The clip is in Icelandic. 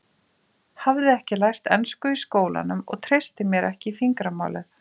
Hafði ekki lært ensku í skólanum og treysti mér ekki í fingramálið.